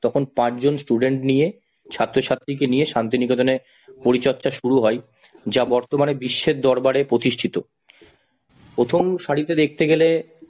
তখন পাঁচজন student নিয়ে ছাত্র-ছাত্রী কে নিয়ে শান্তিনিকেতনে পরিচর্যা শুরু হয় যা বর্তমানে বিশ্বের দরবারে প্রতিষ্ঠিত, প্রথম সারিতে দেখতে গেলে